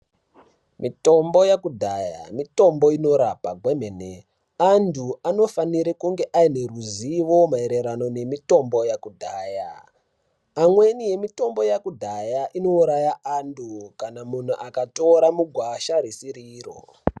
Mitombo yekudhaya mitombo inorapa kwemene, antu anofanire kunge aine ruzivo maererano nemitombo yekudhaya, amweni emitombo yekudhaya inouraya antu kana munhu akatora mugwasha risiri iro.